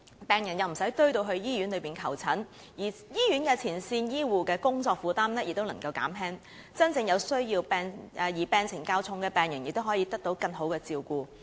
病人不用擠進醫院求診，而醫院的前線醫護人員亦能減輕工作負擔，真正有需要、病情較重的病人亦可以得到更好的照顧。